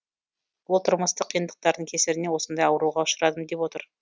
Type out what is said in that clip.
ол тұрмыстық қиындықтардың кесірінен осындай ауруға ұшырадым деп отыр